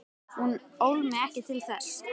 Hún ól mig ekki til þess.